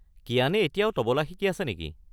কিয়ানে এতিয়াও তবলা শিকি আছে নেকি?